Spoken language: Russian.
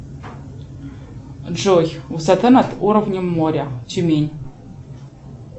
джой высота над уровнем моря тюмень